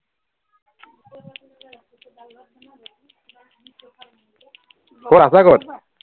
কত আছা কত